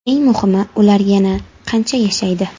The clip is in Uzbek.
Eng muhimi, ular yana qancha yashaydi?